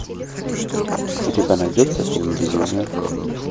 у тебя найдется фильм безумие